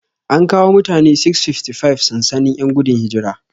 An kawo mutane 655 sansanin 'yan gudun hijira.